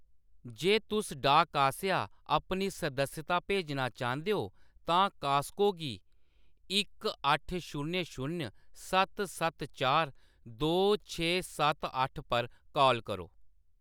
जे तुस डाक आसेआ अपनी सदस्यता भेजना चांह्‌‌‌दे हो, तां कास्को गी इक अट्ठ शून्य शून्य सत्त सत्त चार दो छे सत्त अट्ठ पर काल करो।